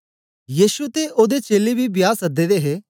यीशु ते ओदे चेलें बी ब्याह् सदे दे हे